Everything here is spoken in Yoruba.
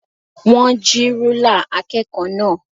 Wọn jí rúlà akẹ́kọ̀ọ́ náà.